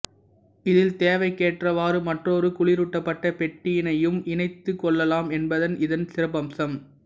இதில் தேவைக்கேற்றவாரு மற்றொரு குளிரூட்டப்பட்ட பெட்டியினையும் இணைத்துக் கொள்ளலாம் என்பது இதன் சிறப்பம்சம்